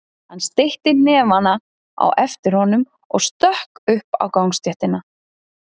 Hann steytti hnefana á eftir honum og stökk upp á gangstéttina.